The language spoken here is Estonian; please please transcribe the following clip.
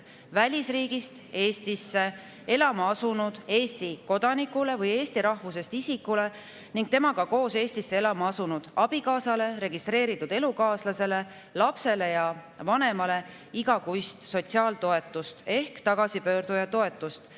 Välisriigist Eestisse elama asunud Eesti kodanikule või eesti rahvusest isikule ning temaga koos Eestisse elama asunud abikaasale, registreeritud elukaaslasele, lapsele ja vanemale igakuist sotsiaaltoetust ehk tagasipöörduja toetust.